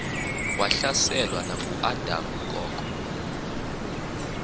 wahlaselwa nanguadam kok